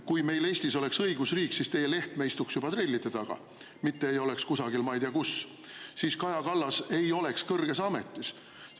Kui meil Eestis oleks õigusriik, siis teie Lehtme istuks juba trellide taga, mitte ei oleks kusagil, ma ei tea, kus; ja siis Kaja Kallas ei oleks kõrges ametis.